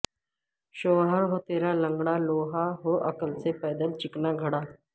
شوہر ہو ترا لنگڑا لولا ہو عقل سے پیدل چکنا گھڑا